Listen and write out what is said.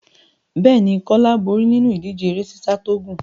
Bẹ́ẹ̀ ni, Kólá borí nínú ìdíje eré sísá tó gùn.